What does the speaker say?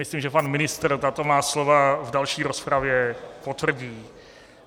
Myslím, že pan ministr tato má slova v další rozpravě potvrdí.